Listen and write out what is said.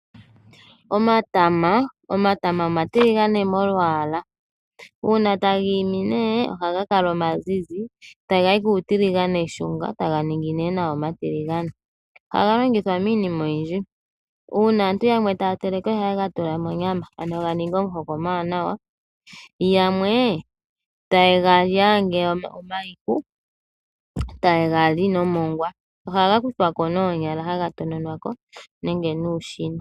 Omatama omatiligane molwaala, uuna taga imi ohaga omazizi, taga yi kuutiliganeshunga, taga ningi nduno nawa omatiligane. Ohaga longithwa miinima oyindji. Uuna aantu yamwe taya teleke ohaye ga tula monyama, ano ga ninge omuhoka omuwanawa. Yamwe taye ga li omayihu, taye ga li nomongwa. Ohaga kuthwa ko noonyala, haga tonwa ko, nenge nuushina.